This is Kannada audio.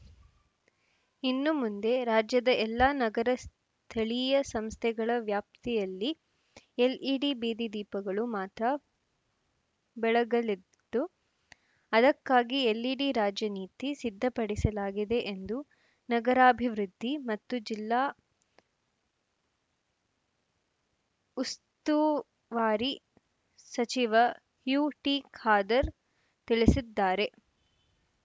ಇನ್ನು ಮುಂದೆ ರಾಜ್ಯದ ಎಲ್ಲ ನಗರ ಸ್ಥಳೀಯ ಸಂಸ್ಥೆಗಳ ವ್ಯಾಪ್ತಿಯಲ್ಲಿ ಎಲ್‌ಇಡಿ ಬೀದಿ ದೀಪಗಳು ಮಾತ್ರ ಬೆಳಗಲಿದ್ದು ಅದಕ್ಕಾಗಿ ಎಲ್‌ಇಡಿ ರಾಜ್ಯ ನೀತಿ ಸಿದ್ಧಪಡಿಸಲಾಗಿದೆ ಎಂದು ನಗರಾಭಿವೃದ್ಧಿ ಮತ್ತು ಜಿಲ್ಲಾ ಉಸ್ತುವಾರಿ ಸಚಿವ ಯುಟಿಖಾದರ್‌ ತಿಳಿಸಿದ್ದಾರೆ